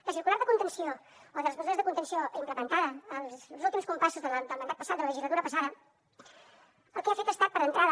la circular de les mesures de contenció implementada en els últims compassos del mandat passat de la legislatura passada el que ha fet ha estat d’entrada